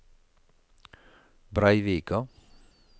Breivika